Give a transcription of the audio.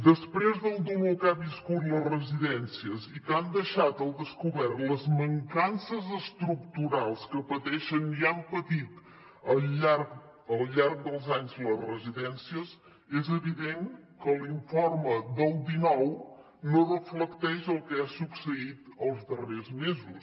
després del dolor que han viscut les residències i que han deixat al descobert les mancances estructurals que pateixen i han patit al llarg dels anys les residències és evident que l’informe del dinou no reflecteix el que ha succeït els darrers mesos